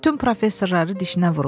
Bütün professorları dişinə vurub.